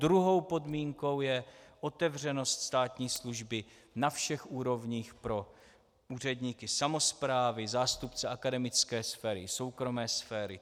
Druhou podmínkou je otevřenost státní služby na všech úrovních pro úředníky samosprávy, zástupce akademické sféry, soukromé sféry.